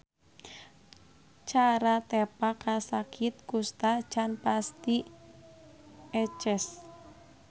Cara tepa kasakit kusta can pati eces.